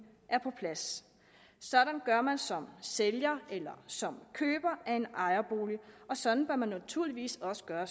er på plads sådan gør man som sælger eller som køber af en ejerbolig og sådan bør man naturligvis også gøre